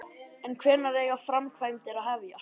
En hvenær eiga framkvæmdir að hefjast?